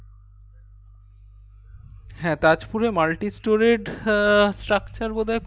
হ্যাঁ তাজপুরের multistoreyed structure বোধাই খুব